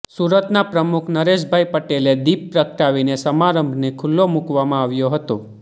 સુરતના પ્રમુખ નરેશભાઈ પટેલે દીપ પ્રગટાવીને સમારંભને ખૂલ્લો મુકવામાં આવ્યો હતો